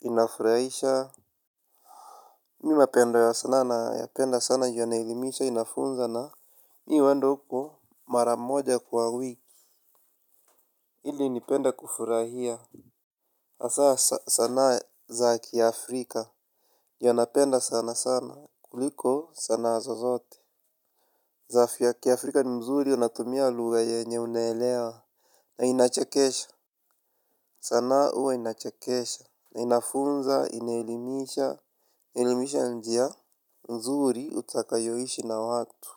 inafurahisha, mi napenda sanaa nayapenda sana juu inaelimisha, inafunza na mi huenda huko mara moja kwa wiki ili nipende kufurahia. Hasa sanaa za kiafrika. Ndio napenda sana sana kuliko sanaa zozote za kiafrika ni mzuri inatumia lugha yenye unaelewa. Na inachekesha. Sanaa huwa inachekesha. Na inafunza, inaelimisha, Inaelimisha njia nzuri utakayoishi na watu.